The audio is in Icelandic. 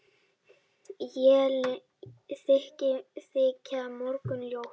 Élin þykja mörgum ljót.